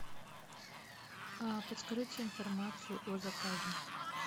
а подскажите информацию о заказе